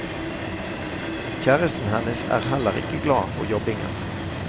Kjæresten hennes er heller ikke glad for jobbingen.